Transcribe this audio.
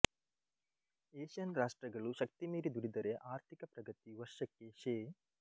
Asian ರಾಷ್ಟ್ರಗಳು ಶಕ್ತಿಮೀರಿ ದುಡಿದರೆ ಆರ್ಥಿಕ ಪ್ರಗತಿ ವರ್ಷಕ್ಕೆ ಶೇ